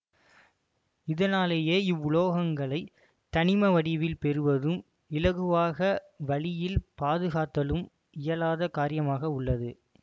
இதனாலேயே இவ்வுலோகங்களை தனிம வடிவில் பெறுவதும் இலகுவாக வளியில் பாதுகாத்தலும் இயலாத காரியமாக உள்ளது